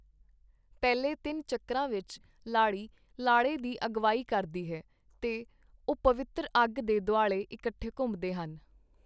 ਪਹਿਲੇ ਤਿੰਨ ਚੱਕਰਾਂ ਵਿੱਚ, ਲਾੜੀ ਲਾੜੇ ਦੀ ਅਗਵਾਈ ਕਰਦੀ ਹੈ ਤੇ ਉਹ ਪਵਿੱਤਰ ਅੱਗ ਦੇ ਦੁਆਲੇ ਇਕੱਠੇ ਘੁੰਮਦੇ ਹਨ।